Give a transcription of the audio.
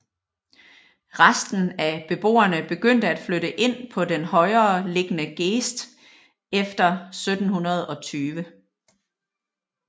Resten af beboerne begyndte at flytte ind på den højere liggende geest efter 1720